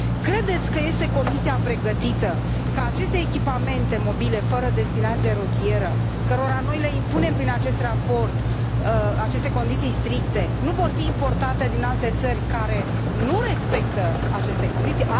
Credeți că este Comisia pregătită ca aceste echipamente mobile fără destinație rutieră, cărora noi le impunem prin acest raport aceste condiții stricte, să fie importate din alte țări care nu respectă aceste condiții?